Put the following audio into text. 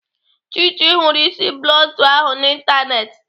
Chichi hụrụ isi bluntu ahụ n'Ịntanetị.